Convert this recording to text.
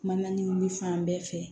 Mana nin fan bɛɛ fɛ